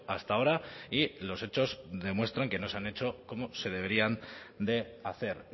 hasta ahora y los hechos demuestran que no se han hecho como se deberían de hacer